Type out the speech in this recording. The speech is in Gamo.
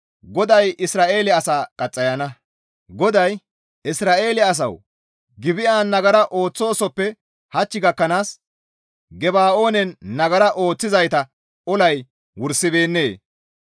GODAY, «Isra7eele asawu! Gibi7an nagara ooththoosoppe hach gakkanaas Geba7oonen nagara ooththizayta olay wursibeennee?